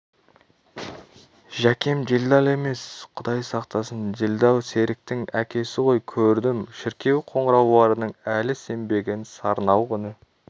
жәкем делдал емес құдай сақтасын делдал серіктің әкесі ғой көрдім шіркеу қоңырауларының әлі сембеген сарнауық үні